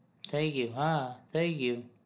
થઇ ગયું હા થઇ ગયું